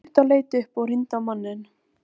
Sú stutta leit upp og rýndi á manninn.